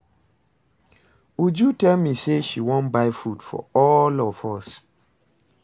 Uju tell me say she wan buy food for all of us